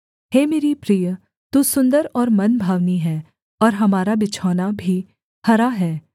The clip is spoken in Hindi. हे मेरी प्रिय तू सुन्दर और मनभावनी है और हमारा बिछौना भी हरा है